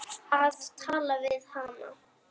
Að tala við hana!